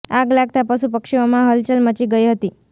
આગ લાગતા પશુ પક્ષીઓમાં હલચલ મચી ગઈ હતી